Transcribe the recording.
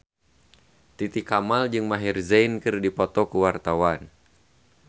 Titi Kamal jeung Maher Zein keur dipoto ku wartawan